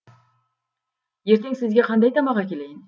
ертең сізге қандай тамақ әкелейін